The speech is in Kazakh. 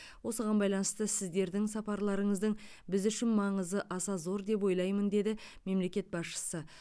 осыған байланысты сіздердің сапарларыңыздың біз үшін маңызы аса зор деп ойлаймын деді мемлекет басшысы